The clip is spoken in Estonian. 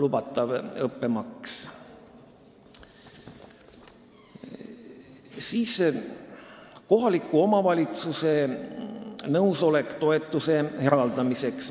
Järgmiseks, kohaliku omavalitsuse nõusolek toetuse eraldamiseks.